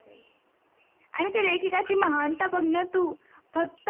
आणि त्या लेखिका ची महानता बघ न तू फक्त